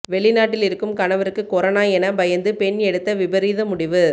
வெளிநாட்டில் இருக்கும் கணவருக்கு கொரானா என பயந்து பெண் எடுத்த விபரீத முடிவு